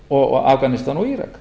í afganistan og írak